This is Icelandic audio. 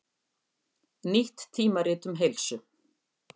Nýtt tímarit um heilsu